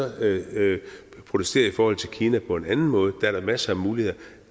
protestere i forhold til kina på en anden måde for der er da masser af muligheder